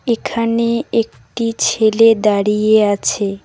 এখানে একটি ছেলে দাঁড়িয়ে আছে।